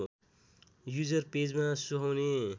user पेजमा सुहाउने